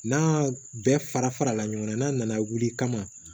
N'a bɛɛ fara fara la ɲɔgɔn kan n'a nana wuli kama